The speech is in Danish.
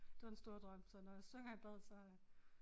Det var den store drøm så når jeg synger i badet så øh